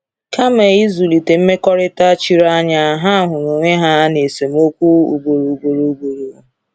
Kama ịzụlite mmekọrịta chiri anya, ha hụrụ onwe ha n’esemokwu ugboro ugboro. ugboro.